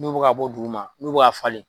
N'u be ka bɔ dukuma, n'u be ka falen.